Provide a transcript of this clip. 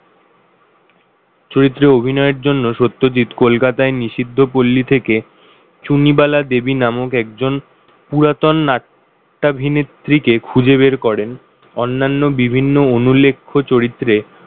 চরিত্রে অভিনয়ের জন্য সত্যজিৎ কলকাতায় নিষিদ্ধ পল্লী থেকে চুনিবালা দেবী নামক একজন পুরাতন নাট্যাভিনেত্রী কে খুঁজে বের করেন অন্যান্য বিভিন্ন অনুলেখ্য চরিত্রে,